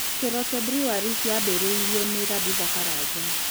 Keroche Breweries yaambĩrĩirio nĩ Tabitha Karanja.